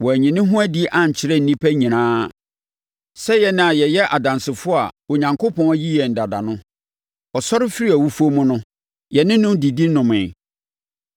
Wanyi ne ho adi ankyerɛ nnipa nyinaa sɛ yɛn a yɛyɛ adansefoɔ a Onyankopɔn ayi yɛn dada no. Ɔsɔre firii awufoɔ mu no, yɛne no didi nomee.